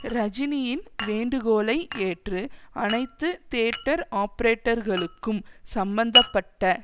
ரஜினியின் வேண்டுகோளை ஏற்று அனைத்து தியேட்டர் ஆபரேட்டர்களுக்கும் சம்பந்த பட்ட